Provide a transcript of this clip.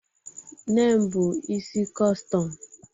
Nne m bu isi kọstọm